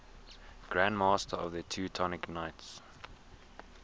grand masters of the teutonic knights